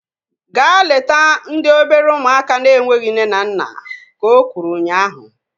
Gaa leta ndị obere ụmụaka na-enweghị nne na nna! Ka o kwuru ụnyaahụ